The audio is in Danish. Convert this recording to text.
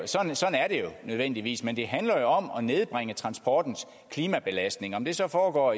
nødvendigvis men det handler om at nedbringe transportens klimabelastning om det så foregår